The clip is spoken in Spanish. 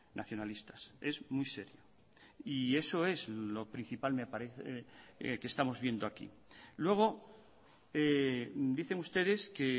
nacionalistas es muy serio y eso es lo principal me parece que estamos viendo aquí luego dicen ustedes que